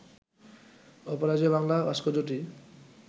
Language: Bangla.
অপরাজেয় বাংলা ভাস্কর্যটি